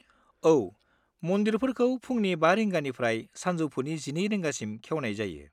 औ। मन्दिरफोरखौ फुंनि 5 रिंगानिफ्राय सानजौफुनि 12 रिंगासिम खेवनाय जायो।